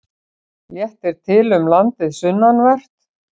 Léttir til um landið sunnanvert